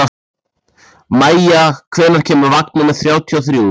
Maia, hvenær kemur vagn númer þrjátíu og þrjú?